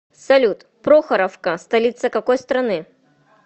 салют прохоровка столица какой страны